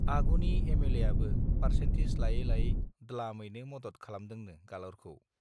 आगुनि M L A आबो पारसेन्टिस लायै लायै द्लामैनो मदद खालामदोंनो गालरखौ